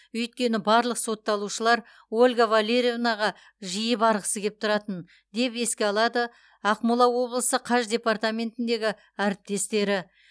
өйткені барлық сотталушылар ольга валерьевнаға жиі барғысы кеп тұратын деп еске алады ақмола облысы қаж департаментіндегі әріптестері